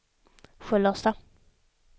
Sköllersta